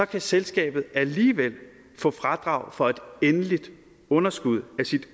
kan selskabet alligevel få fradrag for et endeligt underskud af sit